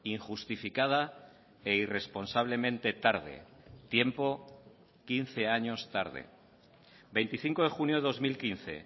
injustificada e irresponsablemente tarde tiempo quince años tarde veinticinco de junio de dos mil quince